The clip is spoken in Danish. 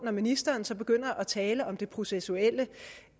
når ministeren så begynder at tale om det processuelle